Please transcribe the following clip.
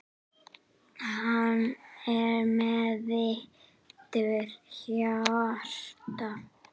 Hann er með viturt hjarta.